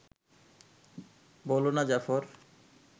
বোলো না, জাফর